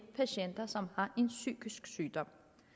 patienter som har en psykisk sygdom